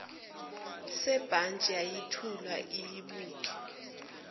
sebhantshi yayithula iyibuke